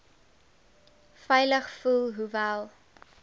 veilig voel hoewel